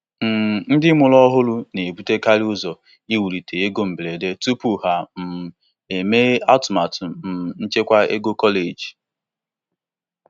um Ndị mụrụ ọhụrụ na-ebutekarị ụzọ iwulite ego mberede tupu ha um emee atụmatụ um nchekwa ego kọleji.